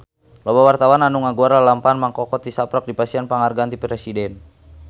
Loba wartawan anu ngaguar lalampahan Mang Koko tisaprak dipasihan panghargaan ti Presiden